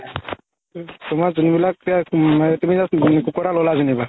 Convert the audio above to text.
তুমাৰ যোনবিলাক মানে তুমি just কুকুৰ এটা ল'লা যেনিবা